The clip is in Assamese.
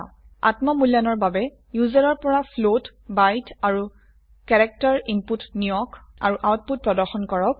আত্ম মূল্যায়নৰ বাবে ইউজাৰৰ পৰা ফ্লোট বাইট আৰু ক্যাৰেক্টাৰ ইনপুট নিয়ক আৰু আউটপুট প্ৰদৰ্শন কৰক